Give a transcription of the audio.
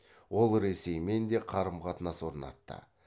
ол ресеймен де қарым қатынас орнатты